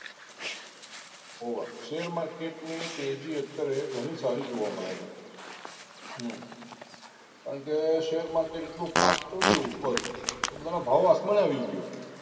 હોવા Share market ની તેજી અત્યારે ઘણી સારી જોવા મળે છે કારણ કે share market એ એટલો fast ચડિયું ઉપર કે ભાવ આસમાને આવી ગયો